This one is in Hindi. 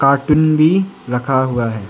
कार्टून भी रखा हुआ है।